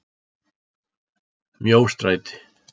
Mjóstræti